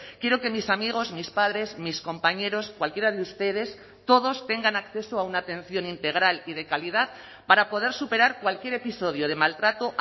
quiero que mis amigos mis padres mis compañeros cualquiera de ustedes todos tengan acceso a una atención integral y de calidad para poder superar cualquier episodio de maltrato